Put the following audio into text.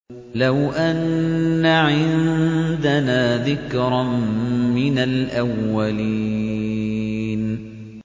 لَوْ أَنَّ عِندَنَا ذِكْرًا مِّنَ الْأَوَّلِينَ